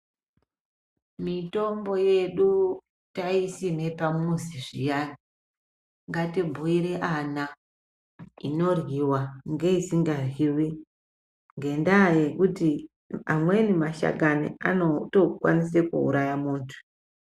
Mitombo yedu taisime pamuzi zviyani, ngatibhuire ana inoryiwa ngeisikaryiwi ngendaya yekuti amweni mashakani anotokwanisa kuuraya muntu.